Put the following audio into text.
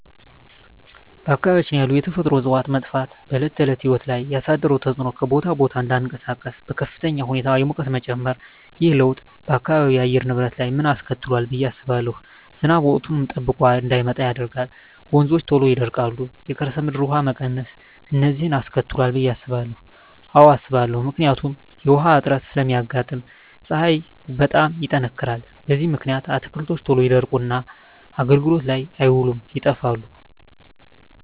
በአካባቢያችን ያሉ የተፈጥሮ እፅዋት መጥፋት በዕለት ተዕለት ሕይወት ላይ ያሣደረው ተፅኖ ሠው ከቦታ ቦታ እዳይንቀሣቀስ፤ በከፍተኛ ሁኔታ የሙቀት መጨመር። ይህ ለውጥ በአካባቢው የአየር ንብረት ላይ ምን አስከትሏል ብየ ማስበው። ዝናብ ወቅቱን ጠብቆ እዳይመጣ ያደርጋል፤ ወንዞች ቶሎ ይደርቃሉ፤ የከርሠ ምድር ውሀ መቀነስ፤ እነዚን አስከትሏል ብየ አስባለሁ። አዎ አስባለሁ። ምክንያቱም ውሀ እጥረት ስለሚያጋጥም፤ ፀሀይ በጣም ይጠነክራል። በዚህ ምክንያት አትክልቶች ቶሎ ይደርቁና አገልግሎት ላይ አይውሉም ይጠፋሉ።